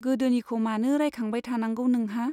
गोदोनिखौ मानो रायखांबाय थानांगौ नोंहा ?